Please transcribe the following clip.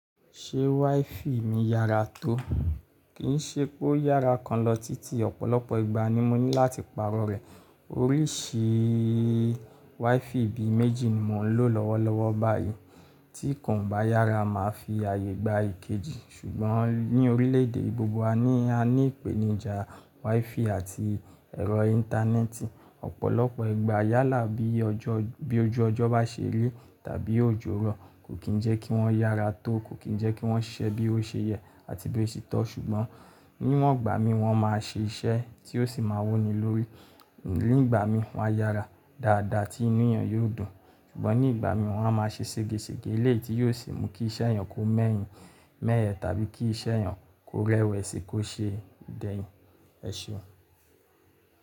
Ṣé WiFi mi yára tó? Kì í ṣe pé ó yára kan lọ títí, ọ̀pọ̀lọpọ̀ ìgbà ni mo ní láti pàrọ̀ rẹ̀. Oríṣi WiFi ibi méjì ni mò ń lò lọ́wọ́lọ́wọ́ báyìí, tí ikòan o bá yára, màá fi ààyè gba èkejì. Ṣùgbọ́n ní orílẹ̀ èdè ìgbogbo a ní, a ní ìpèníjà WiFi àti ẹ̀rọ íńtánẹ́ẹ̀tì. Ọ̀pọ̀lọpọ̀ ìgbà yálà bí ojú ọjọ́ bá ṣe ri tàbí òjò rọ̀, kò kí ń jẹ́ kí wọ́n yára tó, kò kí ń jẹ́ kí wọ́n ṣiṣẹ́ bí o ṣe yẹ àti bí o ṣe tọ́. Ṣùgbọ́n níwọ̀n ìgbà mi wọ́n máa ṣe iṣẹ́ tí ó sì máa wuni lórí. Ní ìgbà mi wọ́n á yára dáadáa tí inú èèyàn yóò dùn, ṣùgbọ́n ní ìgbà mi wọ́n á máa ṣe ségesège eléetí yóò sì mú kí iṣẹ́ ẹyàn kó mẹ́yìn, mẹ́yẹ̀ tàbí kí iṣẹ́ ẹyàn kó rẹwẹ̀sì kó ṣe dẹ̀yìn. Ẹ̀ṣe.